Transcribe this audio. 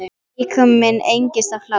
Líkami minn engist af hlátri.